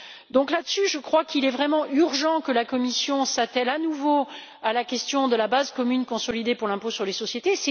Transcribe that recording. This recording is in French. Donc à cet égard, je crois qu'il est vraiment urgent que la Commission s'attelle à nouveau à la question de la base commune consolidée pour l'impôt sur les sociétés.